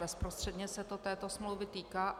Bezprostředně se to této smlouvy týká.